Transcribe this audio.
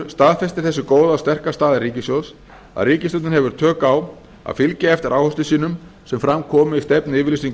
staðfestir þessi góða og sterka staða ríkissjóðs að ríkisstjórnin hefur tök á að fylgja eftir áherslum sínum sem fram koma í stefnuyfirlýsingu